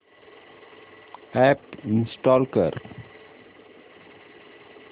app install कर